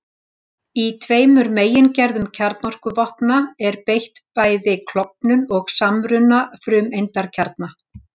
Í tveimur megingerðum kjarnorkuvopna er beitt bæði klofnun og samruna frumeindakjarna.